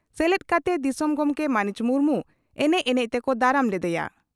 ᱥᱮᱞᱮᱫ ᱠᱟᱛᱮ ᱫᱤᱥᱚᱢ ᱜᱚᱢᱠᱮ ᱢᱟᱹᱱᱤᱡ ᱢᱩᱨᱢᱩ ᱮᱱᱮᱡ ᱮᱱᱮᱡᱛᱮᱠᱚ ᱫᱟᱨᱟᱢ ᱞᱮᱫᱮᱭᱟ ᱾